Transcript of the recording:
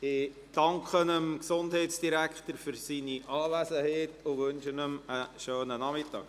Ich danke dem Gesundheitsdirektor für seine Anwesenheit und wünsche ihm einen schönen Nachmittag.